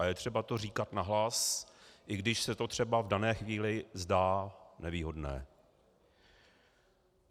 A je třeba to říkat nahlas, i když se to třeba v dané chvíli zdá nevýhodné.